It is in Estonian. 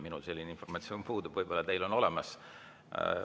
Minul selline informatsioon puudub, võib-olla teil on olemas.